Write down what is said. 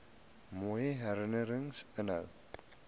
mooi herinnerings inhou